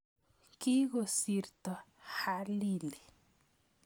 Kikosirto Halili